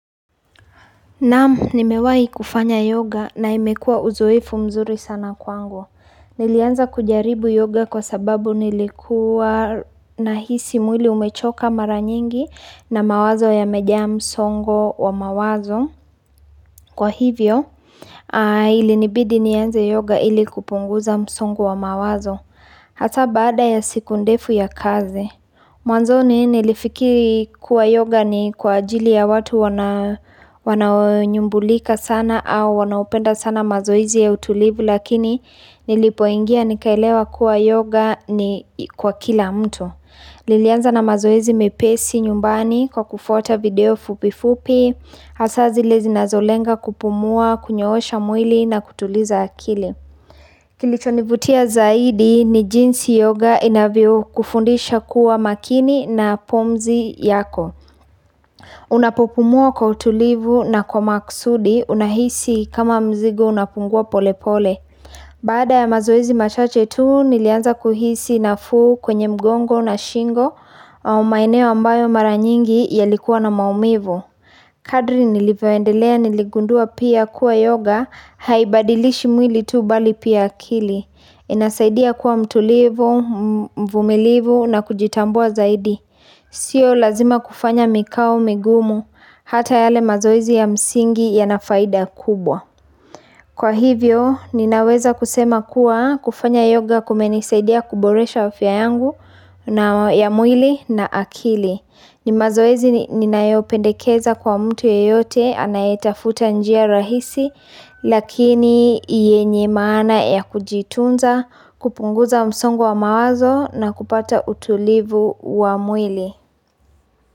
Naam, nimewai kufanya yoga na imekua uzoefu mzuri sana kwangu. Nilianza kujaribu yoga kwa sababu nilikuwa nahisi mwili umechoka mara nyingi na mawazo ya muda msongo wa mawazo. Kwa hivyo, ilinibidi nianze yoga ili kupunguza msongo wa mawazo. Hata baada ya siku ndefu ya kazi. Mwanzo ni nilifikiri kuwa yoga ni kwa ajili ya watu wana nyambulika sana au wanaupenda sana mazoizi ya utulivu lakini nilipoingia nikaelewa kuwa yoga ni kwa kila mtu. Ilianza na mazoezi mepesi nyumbani kwa kufuta video fupifupi, hasazi lezi nasllenga kupumua, kunyoosha mwili na kutuliza akili. Kilitonibutia zaidi ni jinsi yoga inavyo kufundisha kuwa makini na pumzi yako Unapopumuwa kwa utulivu na kwa maksudi unahisi kama mzigo unapungua pole pole Baada ya mazoezi machache tu nilianza kuhisi na fuu kwenye mgongo na shingo au maeneo ambayo mara nyingi yalikuwa na maumivu Kadri nilivyoendelea niligundua pia kuwa yoga haibadilishi mwili tu bali pia akili inasaidia kuwa mtulivu, mvumilivu na kujitambua zaidi Sio lazima kufanya mikau, migumu, hata yale mazoizi ya msingi ya na faida kubwa Kwa hivyo, ninaweza kusema kuwa kufanya yoga kumenisaidia kuboresha wa afya yangu ya mwili na akili ni mazoezi ninaeopendekeza kwa mtu yeyote, anaitafuta njia rahisi lakini yenye maana ya kujitunza kupunguza msongo wa mawazo na kupata utulivu wa mwili.